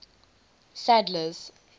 sadler's